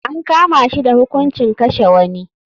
An kama shi da hukuncin kashe wani.